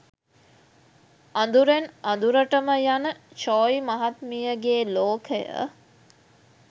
අදුරෙන් අදුරටම යන චෝයි මහත්මියගේ ලෝකය